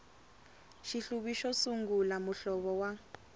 xihluvi xo sungula muhlovo wa